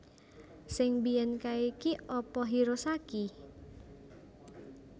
Sing mbiyen kae ki apa Hirosaki?